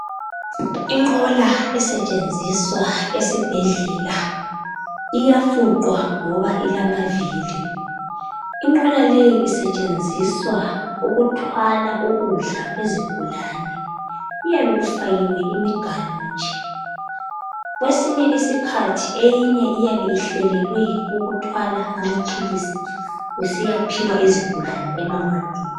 Inqola esetshenziswa esibhedlela iyafuqwa ngoba ilamavili. Inqola leyi isetshenziswa ukuthwala ukudla kwezigulane. Kuyabe kufakiwe imiganu nje . Kwesinye isikhathi eyinye iyabe ihlelelwe ukuthwala amaphilisi kusiyaphiwa izigulane emawadini.